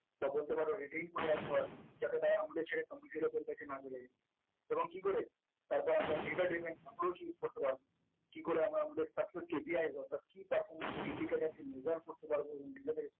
তা বলতে পারো reading পড়ে রাখতে পারব যাতে তারা আমাদের ছেড়ে computer এর কাছে না বোঝা যাই এবং কি করে তারপর আমরা data document approaching করতে পারব করতে পারব কি করে আমরা আমাদের অর্থাৎ key perform indicated in measure করতে পারবো